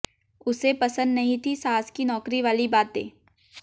उसे पसंद नहीं थी सास की नौकरी वाली बातें